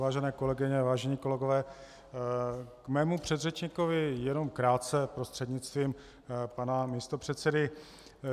Vážené kolegyně, vážení kolegové, k mému předřečníkovi jenom krátce prostřednictvím pana místopředsedy.